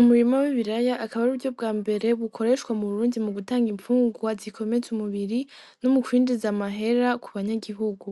Umurimo w'ibiraya akabari uryo bwa mbere bukoreshwa mu burundi mu gutanga imfungurwa zikomeze umubiri no mu kwindiriza amahera ku banyagihugu